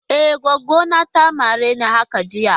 E, goggo na ne ta mare ni haka jiya.